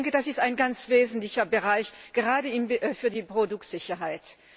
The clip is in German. Das ist ein ganz wesentlicher Bereich, gerade für die Produktsicherheit.